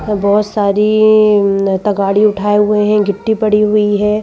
बहुत सारी तगाड़ी उठाए हुए हैं गिट्टी पड़ी हुई है।